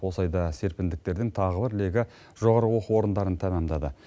осы айда серпіндіктердің тағы бір легі жоғары оқу орындарын тәмамдады